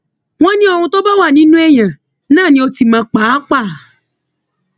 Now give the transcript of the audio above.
wọn ní ohun tó bá wà nínú èèyàn náà ni ọtí máa ń pa á pa